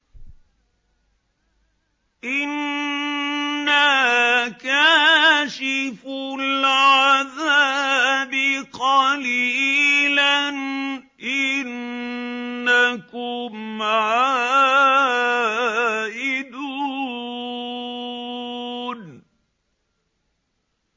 إِنَّا كَاشِفُو الْعَذَابِ قَلِيلًا ۚ إِنَّكُمْ عَائِدُونَ